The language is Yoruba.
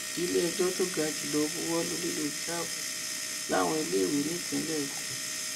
ilé ẹjọ́ tó ga jùlọ buwọ́ lu lílo híjáàbù láwọn iléèwé nípínlẹ èkó